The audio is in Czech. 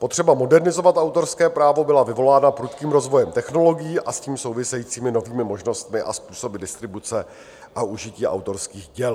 Potřeba modernizovat autorské právo byla vyvolána prudkým rozvojem technologií a s tím souvisejícími novými možnostmi a způsoby distribuce a užití autorských děl.